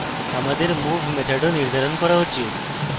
আমাদের move method নির্ধারণ করা উচিত